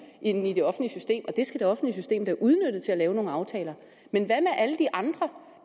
end i det offentlige system og det skal det offentlige system da udnytte til at lave nogle aftaler men hvad med alle de andre